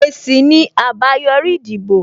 Èsì ni àbáyòrí ìdìbò